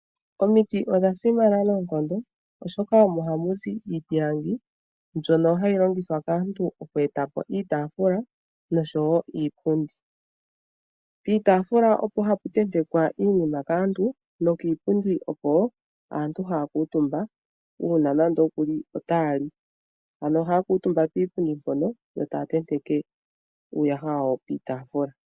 Omiti odha simana noonkondo oshoka omo hamuzi iipilangi mbyoka hayi longithwa kaantu oku etapo iitafula nosho wo iipundi. Piitafula opo hapu tentekwa iinima kaantu, no kiipundi oko aantu haya kuutumba uuna nando kuli ta yali. Ano ohaya kuutumba kiipundi mpono yo taya tenteke uuyaha wawo Piitafula.